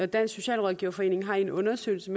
dansk socialrådgiverforening har i en undersøgelse